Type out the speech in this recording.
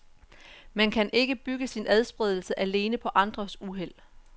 Man kan ikke bygge sin adspredelse alene på andres uheld.